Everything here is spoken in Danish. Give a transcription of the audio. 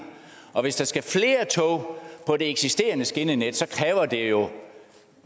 og hvis der skal flere tog på det eksisterende skinnenet kræver det jo